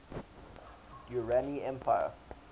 durrani empire